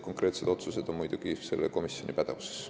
Konkreetsed otsused on muidugi selle komisjoni pädevuses.